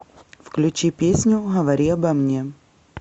включи песню говори обо мне